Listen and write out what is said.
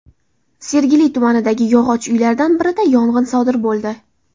Sergeli tumanidagi yog‘och uylardan birida yong‘in sodir bo‘ldi.